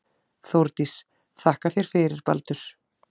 Þórdís: Þakka þér fyrir Baldur.